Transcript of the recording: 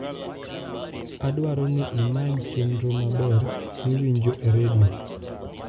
adwaroni imanychenro maber miwinjo e redio